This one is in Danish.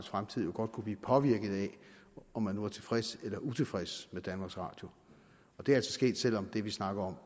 fremtid jo godt kunne blive påvirket af om man nu er tilfreds eller utilfreds med danmarks radio det er altså sket selv om det vi snakker om